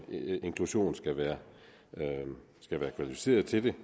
inklusion skal være kvalificerede til det